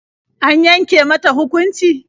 An yanke mata hukunci?